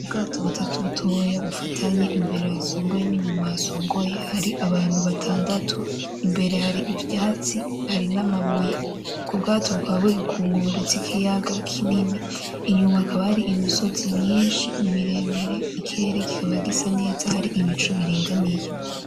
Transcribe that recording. Ubwato butatu butoya bufatanye imbere hasongoye n'inyuma hasongoye hari abantu batandatu imbere hari ivyatsi hari n'amabuye ubwo bwato bukaba buri ku nkombe zikiyaga kinini inyuma hakaba hari imisozi myishi miremire ikirere kikaba gisa neza hari ibicu biringaniye.